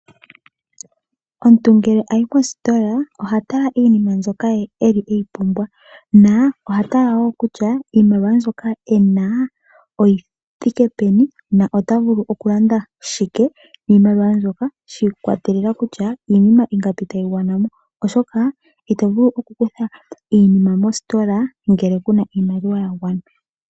Omuntu ngele ayi kositola oha tala iinima mbyoka ye eli eyi pumbwa na oha tala wo kutya iimaliwa mbyoka ena oyithike peni na otavulu okulanda shike niimaliwa mbyoka shi ikwatelela kutya iinima ingapi tayi gwana mo oshoka ito vulu oku kutha iinima mositola ngele kuna iimaliwa ya gwana.